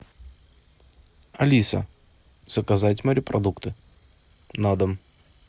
алиса заказать морепродукты на дом